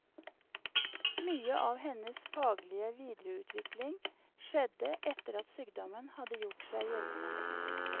Mye av hennes faglige videreutvikling skjedde etter at sykdommen hadde gjort seg gjeldende.